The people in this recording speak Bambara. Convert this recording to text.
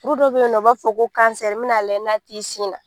Kuru dɔ be yen nɔ, u b'a fɔ ko n b'i na lajɛ n'a t'i sin na.